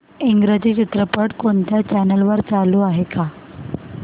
इंग्रजी चित्रपट कोणत्या चॅनल वर चालू आहे का